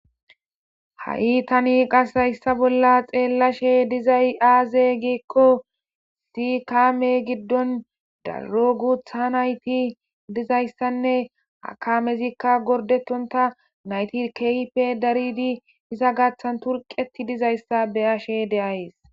Ha7i tani qas hayssa bolla xeellashe dizay aaze giekko si kaame giddon daro gutha nayti dizayssanne akamezikka gordetonta nayti keype daridi hisa gathan turqeti dizayssa beyashe de7ays.